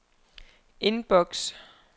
indboks